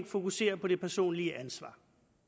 fokusere på det personlige ansvar